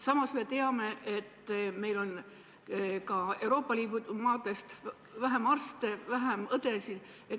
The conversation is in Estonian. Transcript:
Samas me teame, et meil on Euroopa Liidu maadest vähem arste, vähem õdesid.